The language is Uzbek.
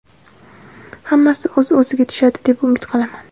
hammasi o‘z iziga tushadi deb umid qilaman.